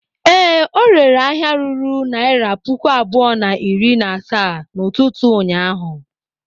Ee, ọ rere ahịa ruru naira puku abụọ na iri na asaa n'ụtụtụ ụnyaahụ.